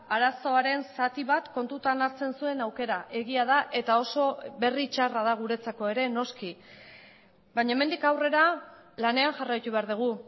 arazoaren zati bat kontutan hartzen zuen aukera egia da eta oso berri txarra da guretzako ere noski baina hemendik aurrera lanean jarraitu behar dugu